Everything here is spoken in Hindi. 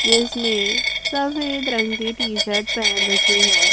जिसने सफेद रंग की टी शर्ट पहन रखी है।